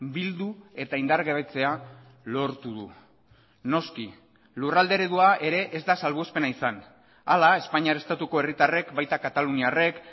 bildu eta indargabetzea lortu du noski lurralde eredua ere ez da salbuespena izan hala espainiar estatuko herritarrek baita kataluniarrek